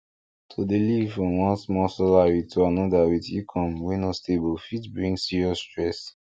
to dey live from one small salary to another with income wey no stable fit bring serious stress